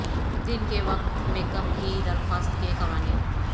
دن کے وقت makeup کی درخواست کے قوانین